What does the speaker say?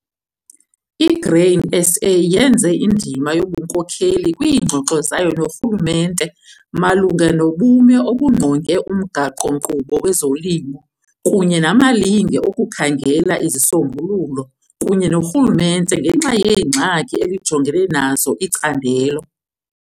I-Grain SA yenze indima yobunkokeli kwiingxoxo zayo norhulumente malunga nobume obungqonge umgaqo-nkqubo wezolimo kunye namalinge okukhangela izisombululo kunye norhulumente ngenxa yeengxaki elijongene nazo icandelo.